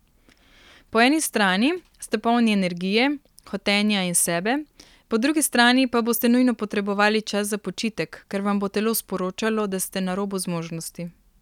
Po eni strani ste polni energije, hotenja in sebe, po drugi strani pa boste nujno potrebovali čas za počitek, ker vam bo telo sporočalo, da ste na robu zmožnosti.